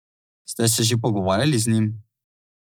Ste se že pogovarjali z njim?